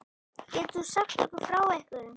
Getur þú sagt okkur frá einhverjum?